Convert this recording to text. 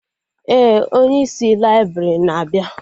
Ee, onye isi laibrị na-abịa